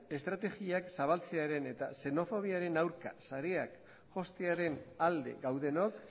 estrategiak zabaltzearen eta xenofobiaren aurka sareak jostearen alde gaudenok